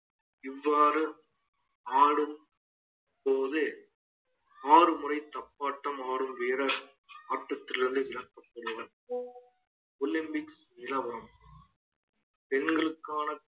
இவ்வாறு ஆடும் போது ஆறு முறை தப்பாட்டம் ஆடும் வீரர் ஆட்டத்தில் இருந்து விளக்கப்படுவார் olympics நிலவரம் பெண்களுக்கான